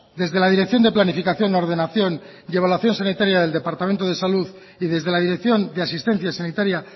desde la dirección de planificación ordenación y evaluación sanitaria del departamento de salud y desde la dirección de asistencia sanitaria